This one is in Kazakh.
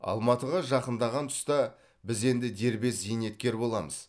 алматыға жақындаған тұста біз енді дербес зейнеткер боламыз